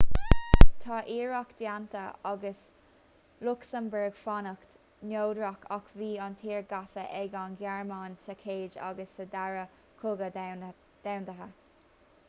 tá iarracht déanta ag lucsamburg fanacht neodrach ach bhí an tír gafa ag an ghearmáin sa chéad agus sa dara cogadh domhanda